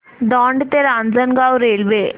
दौंड ते रांजणगाव रेल्वे